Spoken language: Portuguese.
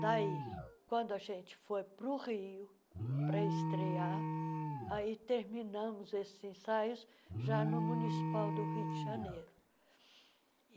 Daí, quando a gente foi para o Rio para estrear, aí terminamos esses ensaios já no Municipal do Rio de Janeiro.